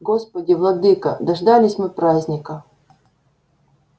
господи владыко дождались мы праздника